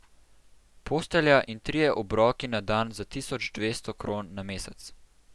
Postelja in trije obroki na dan za tisoč dvesto kron na mesec.